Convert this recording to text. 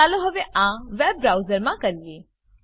ચાલો હવે આ વેબ બ્રાઉઝરમાં કરીએ